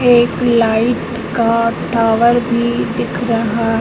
एक लाइट का टावर भी दिख रहा--